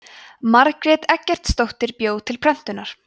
margrét eggertsdóttir bjó til prentunar